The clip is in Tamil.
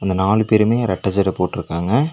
நாலு பேருமே ரெட்ட ஜட போட்ருக்காங்க.